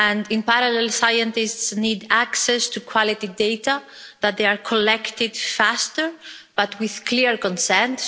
in parallel scientists need access to quality data that are collected faster but with clear consent.